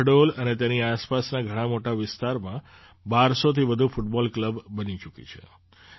શહડોલ અને તેની આસપાસના ઘણા મોટા વિસ્તારમાં ૧૨૦૦થી વધુ ફૂટબૉલ ક્લબ બની ચૂકી છે